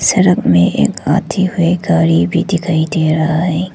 सड़क में एक हाथी और एक गाड़ी भी दिखाई दे रहा है।